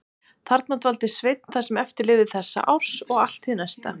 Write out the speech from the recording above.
Þarna dvaldi Sveinn það sem eftir lifði þessa árs og allt hið næsta.